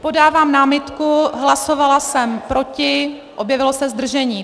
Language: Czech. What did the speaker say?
Podávám námitku, hlasovala jsem proti, objevilo se zdržení.